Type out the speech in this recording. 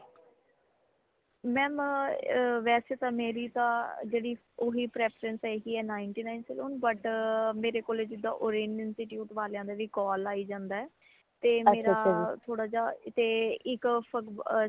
ਮੈਂ ਅ ਵੈਸੇ ਤਾ ਮੇਰੀ ਤਾ ਜੇੜੀ ਓਹੀ preference ਹੈਗੀ ninth nine saloon but ਮੇਰੇ ਕੋਲ ਜਿੰਦਾ orange institute ਵਾਲਿਆਂ ਦੇ ਵੀ call ਆਈ ਜਾਂਦਾ ਤੇ ਮੇਰਾ ਥੋੜਾ ਜਾ ਤੇ ਇੱਕ